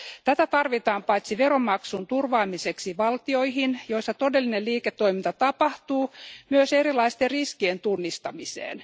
Tätä tarvitaan paitsi veronmaksun turvaamiseksi valtioihin, joissa todellinen liiketoiminta tapahtuu, myös erilaisten riskien tunnistamiseen.